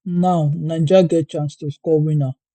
now niger get chance to score winner